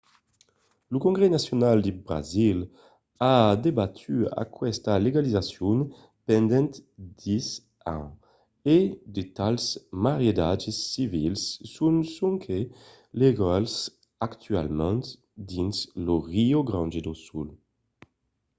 lo congrès nacional de brasil a debatut aquesta legalizacion pendent 10 ans e de tals maridatges civils son sonque legals actualament dins lo rio grande do sul